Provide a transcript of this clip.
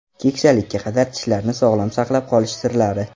Keksalikka qadar tishlarni sog‘lom saqlab qolish sirlari.